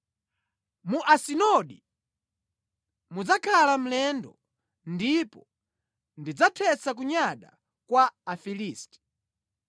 Mu Asidodi mudzakhala mlendo, ndipo ndidzathetsa kunyada kwa Afilisti.